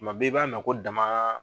Kuma bɛɛ i b'a mɛn ko dama